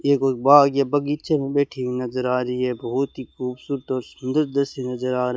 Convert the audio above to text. ये कोई बाग ये बागीचे मे बैठी हुई नजर आ रही है बहुत ही खूबसूरत और सुंदर दृश्य नजर आ --